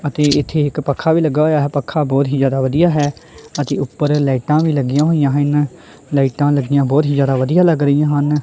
ਅਤੇ ਇੱਥੇ ਇੱਕ ਪੱਖਾ ਵੀ ਲੱਗਾ ਹੋਇਆ ਪੱਖਾ ਬਹੁਤ ਹੀ ਜਿਆਦਾ ਵਧੀਆ ਹੈ ਅਸੀਂ ਉੱਪਰ ਲਾਈਟਾਂ ਵੀ ਲੱਗੀਆਂ ਹੋਈਆਂ ਹਨ ਲਾਈਟਾਂ ਲੱਗੀਆਂ ਬਹੁਤ ਹੀ ਜਿਆਦਾ ਵਧੀਆ ਲੱਗ ਰਹੀਆਂ ਹਨ।